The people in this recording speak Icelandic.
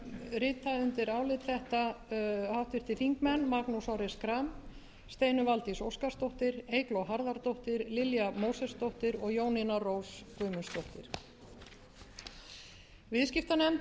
álit þetta háttvirtir þingmenn magnús orri schram steinunn valdís óskarsdóttir eygló harðardóttir lilja mósesdóttir og jónína rós guðmundsdóttir viðskiptanefnd hefur